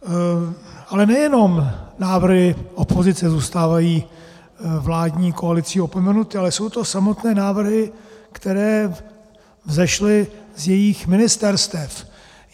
Ale nejenom návrhy opozice zůstávají vládní koalicí opomenuty, ale jsou to samotné návrhy, které vzešly z jejich ministerstev.